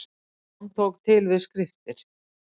Jón tók til við skriftir.